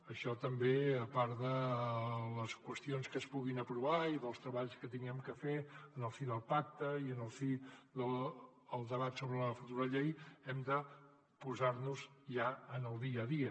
això també a part de les qüestions que es puguin aprovar i dels treballs que haguem de fer en el si del pacte i en el si del debat sobre la futura llei hem de posar nos ja en el dia a dia